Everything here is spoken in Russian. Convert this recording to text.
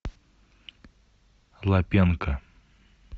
лапенко